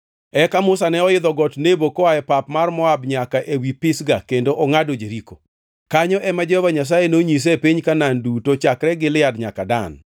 Eka Musa ne oidho got Nebo koa e pap mar Moab nyaka ewi Pisga ka ongʼado Jeriko. Kanyo ema Jehova Nyasaye nonyise piny Kanaan duto, chakre Gilead nyaka Dan,